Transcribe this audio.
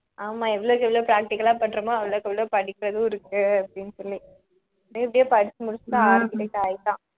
ஆமாம் எவ்வளவுக்கு எவ்வளவு practical ஆ பண்றோமோ அவ்வளவுக்கு அவ்வளவு படிக்கிறதும் இருக்கு அப்படின்னு சொல்லி ஆனா எப்படியே படிச்சு முடிச்சுட்டான் architect ஆயிட்டான்